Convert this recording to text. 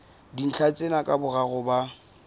dintlha tsena ka boraro ba